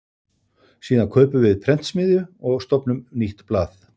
Síðan kaupum við prentsmiðju og stofnum nýtt blað.